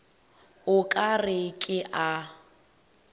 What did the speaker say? o ka re ke a